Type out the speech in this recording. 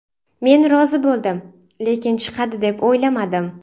Men rozi bo‘ldim, lekin chiqadi deb o‘ylamadim.